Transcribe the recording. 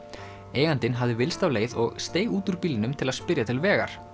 eigandinn hafði villst af leið og steig út úr bílnum til að spyrja til vegar